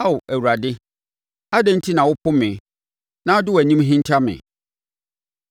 Ao Awurade, adɛn nti na wopo me na wode wʼanim hinta me?